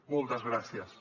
moltes gràcies